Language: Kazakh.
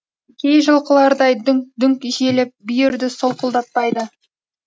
кей жылқылардай дүңк дүңк желіп бүйірді солқылдатпайды